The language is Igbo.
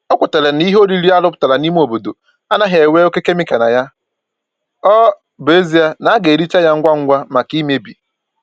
O kwetara n'ihe oriri a rụpụtara n'ime obodo anaghị enwe oke kemịkal na ya, ọ bụ ezie na a ga-ericha ya ngwa ngwa maka imebi